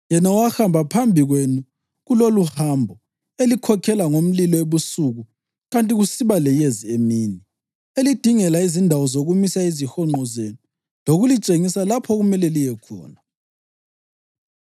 yena owahamba phambi kwenu kuloluhambo, elikhokhela ngomlilo ebusuku kanti kusiba leyezi emini, elidingela izindawo zokumisa izihonqo zenu lokulitshengisa lapho okumele liye khona.